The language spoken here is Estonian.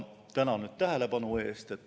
Tänan tähelepanu eest!